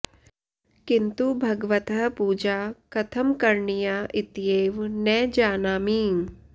किन्तु भगवतः पूजा कथं करणीया इत्येव न जानामि